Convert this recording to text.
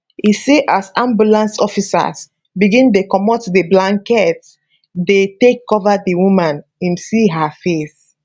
e say as ambulance officers begin dey comot di blankets dem take cover di woman im see her face